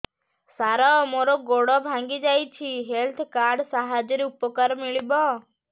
ସାର ମୋର ଗୋଡ଼ ଭାଙ୍ଗି ଯାଇଛି ହେଲ୍ଥ କାର୍ଡ ସାହାଯ୍ୟରେ ଉପକାର ମିଳିବ